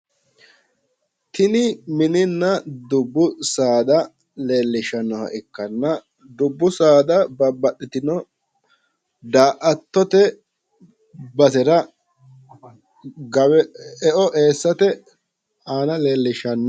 tini mininna dubbu saada leellishshannoha ikkanna dubbu saada babbaxxitino daa'attote basera e'o eessate aana leellishshanno.